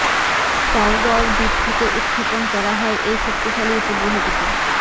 Kourou দ্বীপ থেকে উৎক্ষেপণ করা হয় এই শক্তিশালী উপগ্রহটিকে